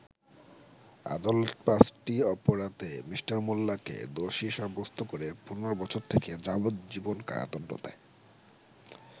আদালত পাঁচটি অপরাধে মি: মোল্লাকে দোষী সাব্যস্ত করে ১৫ বছর থেকে যাবজ্জীবন কারাদন্ড দেয়।